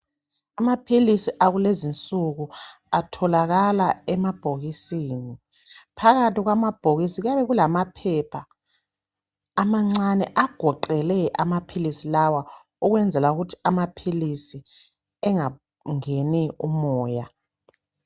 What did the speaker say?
Amaphilisi akulezinsuku atholakala emabhokisini. Phakathi kwamabhokisi kuyabe kulamaphepha amancane agoqele amaphilisi lawa ukwenzela ukuthi amaphilisi engangeni umoya